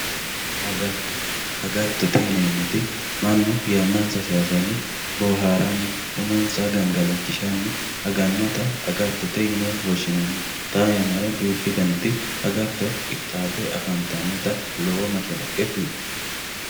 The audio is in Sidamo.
agatto agattote yineemmoti mannu yannansa saysanni boohaarannin umonsa gangalachishsahni agannota agattote yine woshshinani xaa yannara duuchu daniti agatto qixxaabbe afantannota lowo mashshalaqe kultanno